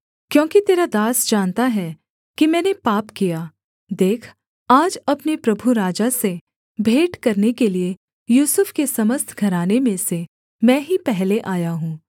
क्योंकि तेरा दास जानता है कि मैंने पाप किया देख आज अपने प्रभु राजा से भेंट करने के लिये यूसुफ के समस्त घराने में से मैं ही पहले आया हूँ